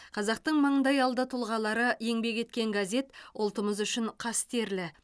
қазақтың маңдайалды тұлғалары еңбек еткен газет ұлтымыз үшін қастерлі